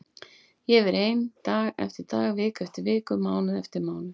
Ég hefi verið ein dag eftir dag, viku eftir viku, mánuð eftir mánuð.